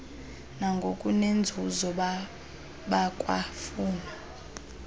nangokunenzuzo bakwa funa